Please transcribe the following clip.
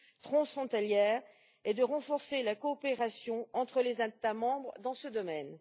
transfrontalière et de renforcer la coopération entre les États membres dans ce domaine.